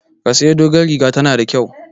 Ki sayi dogon rigar, ta na da kyau!